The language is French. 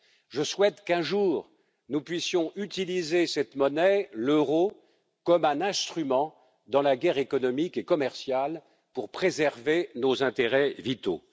Je souhaite qu'un jour nous puissions utiliser cette monnaie, l'euro, comme un instrument dans la guerre économique et commerciale pour préserver nos intérêts vitaux.